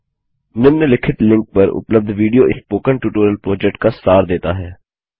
निम्नलिखित लिंक पर उपलब्ध विडियो स्पोकन ट्यूटोरियल प्रोजेक्ट का सार देता है